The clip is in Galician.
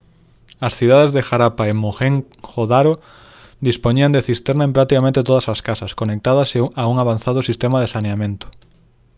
as cidades de harappa e mohenjo-daro dispoñían de cisterna en practicamente todas as casas conectadas a un avanzado sistema de saneamento